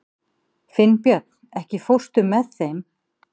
Finnbjörn, ekki fórstu með þeim?